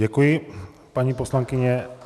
Děkuji, paní poslankyně.